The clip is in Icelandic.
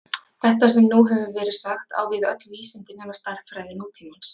þetta sem nú hefur verið sagt á við öll vísindi nema stærðfræði nútímans